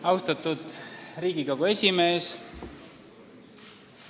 Austatud Riigikogu esimees!